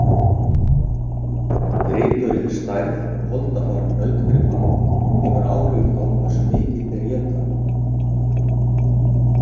Gripurinn Stærð og holdafar nautgripa hefur áhrif á hversu mikið þeir éta.